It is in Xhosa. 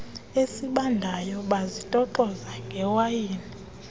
esibandayo bazitoxoza ngewayini